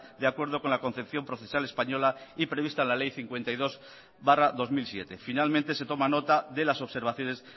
de acuerdo con la concepción procesal española y prevista en la ley cincuenta y dos barra dos mil siete finalmente se toma nota de las observaciones